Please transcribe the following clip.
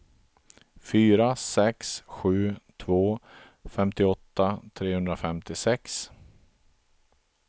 fyra sex sju två femtioåtta trehundrafemtiosex